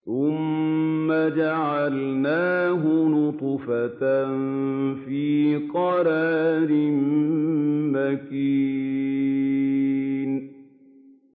ثُمَّ جَعَلْنَاهُ نُطْفَةً فِي قَرَارٍ مَّكِينٍ